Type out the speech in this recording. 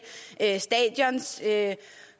tage